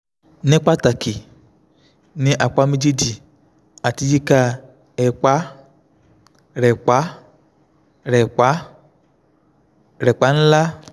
ní pàtàkì ní apá méjèèjì àti yíká ẹ̀pá rẹ̀pá rẹ̀pá rẹ̀pá ńlá